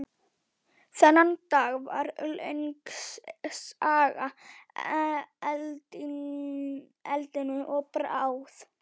Þennan dag varð löng saga eldinum að bráð.